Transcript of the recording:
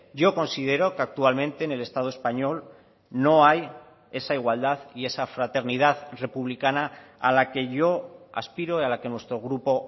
yo considero que actualmente en el estado español no hay esa igualdad y esa fraternidad republicana a la que yo aspiro y a la que nuestro grupo